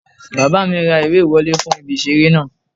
Bàbá mi ra ìwé ìwọlé fún ibi ìseré náà